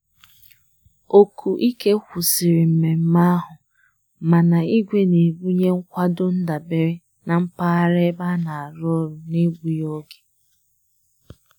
Oku ike kwụsịrị mmemme ahụ, mana igwe na-ebunye nkwado ndabere na mpaghara ebe a na-arụ ọrụ n'egbughị oge.